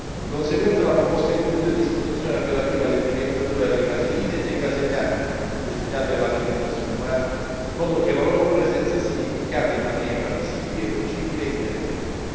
Di conseguenza la proposta include disposizioni relative all'etichettatura delle caseine e dei caseinati destinati all'alimentazione umana, in modo che la loro presenza sia indicata in maniera visibile, leggibile e indelebile.